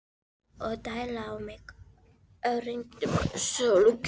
Þór, og deila á mig og regnbogasilunginn.